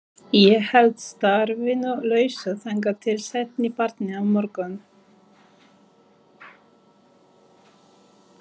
Ég held starfinu lausu þangað til seinni partinn á morgun.